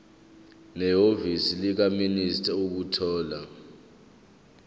nehhovisi likamaster ukuthola